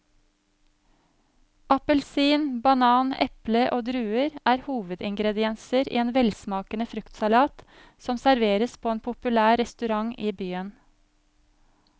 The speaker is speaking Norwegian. Appelsin, banan, eple og druer er hovedingredienser i en velsmakende fruktsalat som serveres på en populær restaurant i byen.